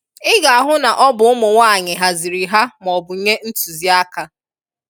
ị ga-ahụ na ọ bụ ụmụnwaanyị haziri ha maọbụ nye ntuzi aka.